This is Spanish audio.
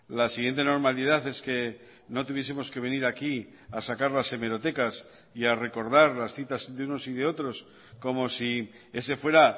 la siguiente normalidad es que no tuviesemos que venir aquí a sacar las hemerotecas y a recordar las citas de unos y de otros como si ese fuera